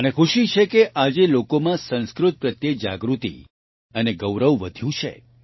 મને ખુશી છે કે આજે લોકોમાં સંસ્કૃત પ્રત્યે જાગૃતિ અને ગૌરવ વધ્યું છે